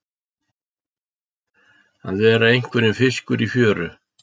Að verða einhverjum fiskur í fjöru